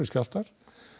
skjálftar